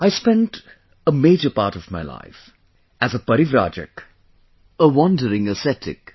I spent a major part of my life as a Parivrajak, an ascetic